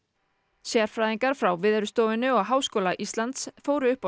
sérfræðingar frá Veðurstofunni og Háskóla Íslands fóru upp á